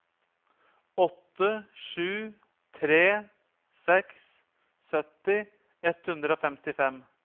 åtte sju tre seks sytti ett hundre og femtifem